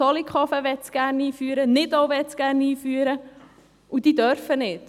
Zollikofen und Nidau möchten es gerne einführen, dürfen es aber nicht.